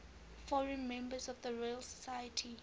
foreign members of the royal society